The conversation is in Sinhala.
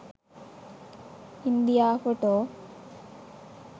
india photo